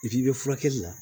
i bɛ furakɛli la